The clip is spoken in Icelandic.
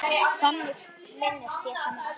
Þannig minnist ég hennar.